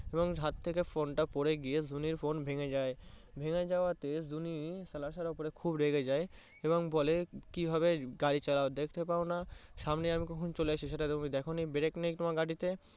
এবং হাত থেকে phone তা পরে গিয়ে জুনির phone তা ভেঙে যায়। ভেঙে যাওয়াতে জুনি সাহেব এর ওপর খুবই রেগে যায় এবং বলে কিভাবে গাড়ি চালাও দেখতে পাওনা সামনে আমি কখন চলে এসেছি সেটা তুমি দেখোনি brake নেই তোমার গাড়িতে।